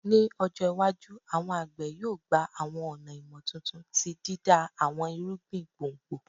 Ni ọjọ iwaju, awọn agbe yoo gba awọn ọna imotuntun ti dida awọn irugbin gbongbo